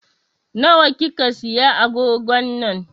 Na wa kika siya agogon nan?